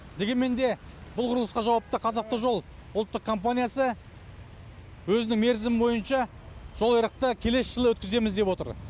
дегенменде бұл құрылысқа жауапты қазавтожол ұлттық компаниясы өзінің мерзімі бойынша жол айрықты келесі жылы өткіземіз деп отыр